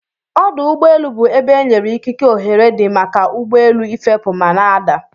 Ọdụ ụgbọ elu bu ebe enyere ikike ohere di maka ugbọelu ifepu mana adaa.